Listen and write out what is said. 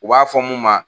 U b'a fɔ mun ma